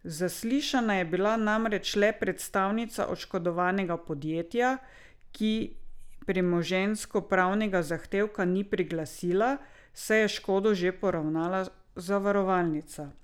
Zaslišana je bila namreč le predstavnica oškodovanega podjetja, ki premoženjskopravnega zahtevka ni priglasila, saj je škodo že poravnala zavarovalnica.